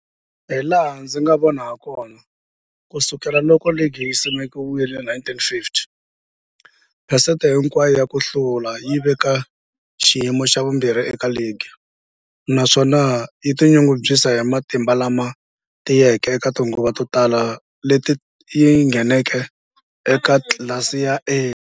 Hilaha ndzi nga vona hakona, ku sukela loko ligi yi simekiwile, 1950, phesente hinkwayo ya ku hlula yi le ka xiyimo xa vumbirhi eka ligi, naswona yi tinyungubyisa hi matimba lama tiyeke eka tinguva to tala leti yi ngheneke eka tlilasi ya A.